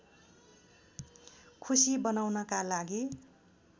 खुसी बनाउनका लागि